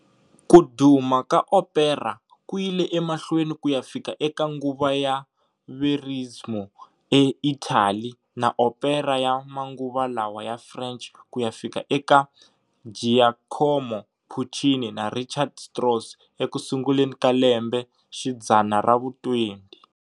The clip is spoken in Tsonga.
Ku duma ka opera kuyile emahlweni kuya fika eka nguva ya verismo e Italy na opera ya manguva lawa ya French kuya fika eka Giacomo Puccini na Richard Strauss ekusunguleni ka lembe xidzana ravu 20.